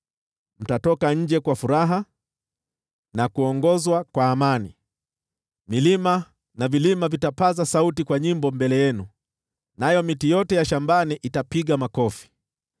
Mtatoka nje kwa furaha na kuongozwa kwa amani; milima na vilima vitapaza sauti kwa nyimbo mbele yenu, nayo miti yote ya shambani itapiga makofi.